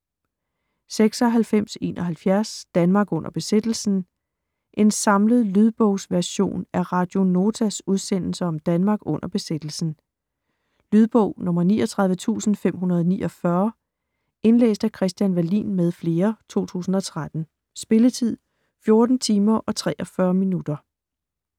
96.71 Danmark under besættelsen En samlet lydbogsversion af Radio Notas udsendelser om Danmark under besættelsen. Lydbog 39549 Indlæst af Christian Wallin m. fl., 2013. Spilletid: 14 timer, 43 minutter.